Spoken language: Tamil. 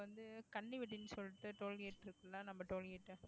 இப்ப வந்து கன்னி வெட்டின்னு சொல்லிட்டு tollgate இருக்குல்ல நம்ம tollgate